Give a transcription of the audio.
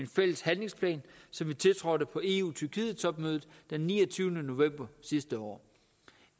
fælles handlingsplan som vi tiltrådte på eu tyrkiet topmødet den niogtyvende november sidste år